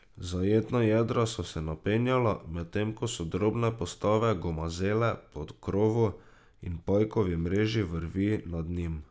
Zajetna jadra so se napenjala, medtem ko so drobne postave gomazele po krovu in pajkovi mreži vrvi nad njim.